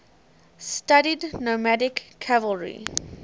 studied nomadic cavalry